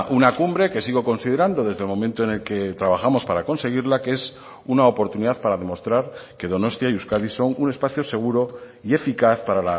una cumbre que sigo considerando desde el momento en el que trabajamos para conseguirla que es una oportunidad para demostrar que donostia y euskadi son un espacio seguro y eficaz para